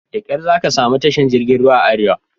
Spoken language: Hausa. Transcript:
Da ƙar zaka samu tashar jirgin ruwan a arewa.